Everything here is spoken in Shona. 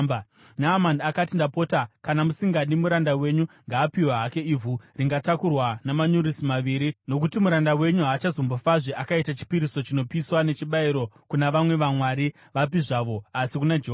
Naamani akati, “Ndapota, kana musingadi, muranda wenyu ngaapiwe hake ivhu ringatakurwa namanyurusi maviri, nokuti muranda wenyu haachambofazve akaita chipiriso chinopiswa nechibayiro kuna vamwe vamwari vapi zvavo asi kuna Jehovha.